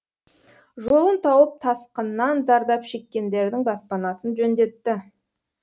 жолын тауып тасқыннан зардап шеккендердің баспанасын жөндетті